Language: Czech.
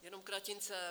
Jenom kratince.